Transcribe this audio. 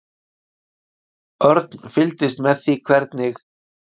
Örn fylgdist með því hvernig